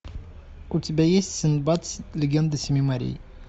у тебя есть синдбад легенда семи морей